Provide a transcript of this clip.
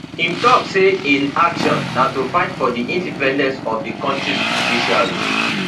im tok say im action na to fight for di independence of di kontris judiciary